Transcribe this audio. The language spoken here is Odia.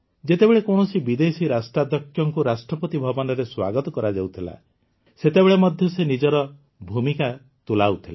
ଯେତେବେଳେ କୌଣସି ବିଦେଶୀ ରାଷ୍ଟ୍ରାଧ୍ୟକ୍ଷଙ୍କୁ ରାଷ୍ଟ୍ରପତି ଭବନରେ ସ୍ୱାଗତ କରାଯାଉଥିଲା ସେତେବେଳେ ମଧ୍ୟ ସେ ନିଜର ଭୂମିକା ତୁଲାଉଥିଲା